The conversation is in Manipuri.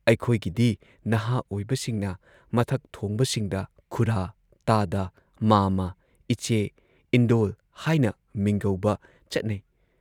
ꯑꯩꯈꯣꯏꯒꯤꯗꯤ ꯅꯍꯥ ꯑꯣꯏꯕꯁꯤꯡꯅ ꯃꯊꯛ ꯊꯣꯡꯕꯁꯤꯡꯗ ꯈꯨꯔꯥ, ꯇꯥꯗ, ꯃꯥꯝꯃꯥ, ꯏꯆꯦ, ꯏꯟꯗꯣꯜ ꯍꯥꯏꯅ ꯃꯤꯡꯒꯧꯕ ꯆꯠꯅꯩ ꯫